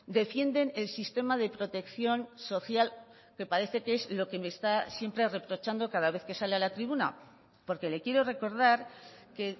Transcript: defienden el sistema de protección social que parece que es lo que me está siempre reprochando cada vez que sale a la tribuna porque le quiero recordar que